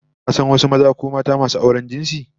Ka san wasu maza ko mata masu auren jinsi?